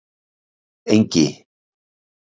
Engi